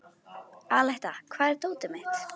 Aletta, hvar er dótið mitt?